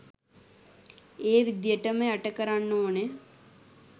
ඒ විදියටම යට කරන්න ඕන